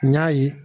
N y'a ye